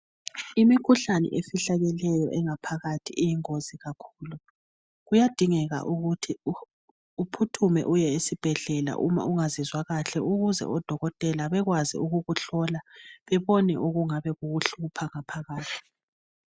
Imikhuhlane efihlakeleyo engaphakathi iyingozi kakhulu kuyadingeka ukuthi uphuthume uye esibhedlela uma ungazizwa kahle ukuze odokotela bekwazi ukukuhlola bebone okuyabe kukuhlupha ngaphakathi